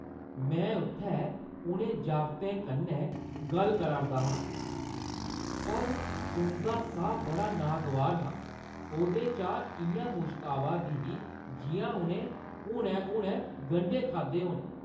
मैं उत्थैं उ'नें जागतें कन्नै गल्ल करा दा हा पर उंʼदा साह् बड़ा नागवार हा। ओह्‌दे चा इʼयां मुश्क आवा दी ही जिʼयां उʼनें हुनै-हुनै गंढे खाद्धे होन ।